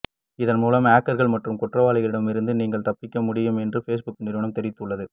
இதன்மூலம் ஹேக்கர்கள் மற்றும் குற்றவாளிகளிடம் இருந்து நீங்கள் தப்பிக்க முடியும் என்றும் பேஸ்புக் நிறுவனம் தெரிவித்துள்ளது